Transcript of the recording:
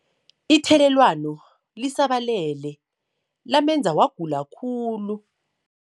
Ithelelwano lisabalele lamenza wagula khulu.